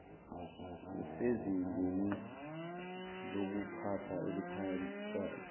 usezingeni lokuphatha eliphakathi